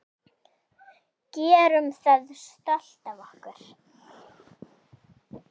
Gerum það stolt af okkur.